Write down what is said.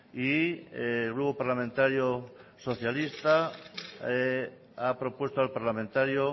y el grupo parlamentario socialista ha propuesto al parlamentario